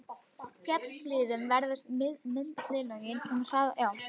Í fjallahlíðum veðrast millilögin mun hraðar en hraunlögin.